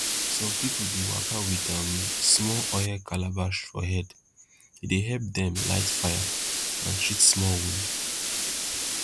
some pipo dey waka with um small oil calabash for hand e dey help dem light fire and treat small wound